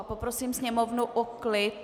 A poprosím sněmovnu o klid!